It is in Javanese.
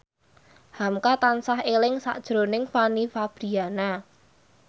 hamka tansah eling sakjroning Fanny Fabriana